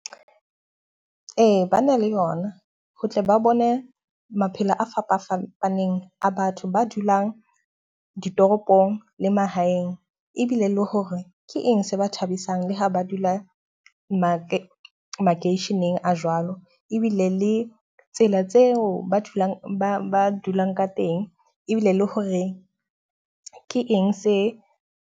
Ee, ba na le yona ho tle ba bone maphelo a fapafapaneng a batho ba dulang ditoropong le mahaeng. Ebile le hore ke eng se ba thabisang le ha ba dula make makeisheneng a jwalo. Ebile le tsela tseo ba dulang ba ba dulang ka teng ebile le hore ke eng se.